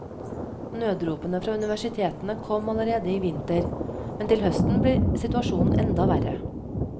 Nødropene fra universitetene kom allerede i vinter, men til høsten blir situasjonen enda verre.